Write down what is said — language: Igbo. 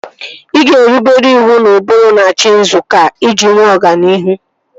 Ị ga-erubere iwu na ụbụrụ n'achị nzukọ a iji nwee ọganihu